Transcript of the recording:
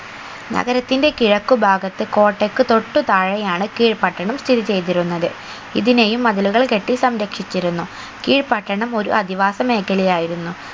നഗരത്തിന്റെ കിഴക്കു ഭാഗത്ത് കോട്ടക്ക് തൊട്ടു താഴെ ആണ് കീഴ് പട്ടണം സ്ഥിതി ചെയ്തിരുന്നത് ഇതിനെയും മതിലുകൾ കെട്ടി സംരക്ഷിച്ചിരുന്നു കീഴ് പട്ടണം ഒരു അധിവാസ മേഖലയായിരുന്നു